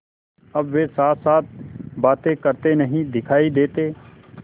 अब वे साथसाथ बातें करते नहीं दिखायी देते